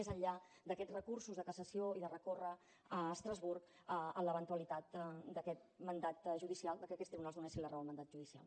més enllà d’aquests recursos de cassació i de recórrer a estrasburg en l’eventualitat que aquests tribunals donessin la raó al mandat judicial